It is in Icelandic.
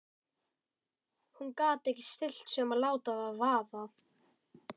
Hún gat ekki stillt sig um að láta það vaða.